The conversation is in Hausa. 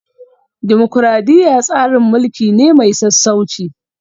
Dimokuradiyya tsarin mulki ne mai sassauci